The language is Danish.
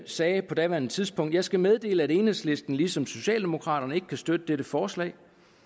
sagde på daværende tidspunkt jeg skal meddele at enhedslisten ligesom socialdemokraterne ikke kan støtte dette forslag